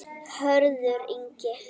Hörður Ingi.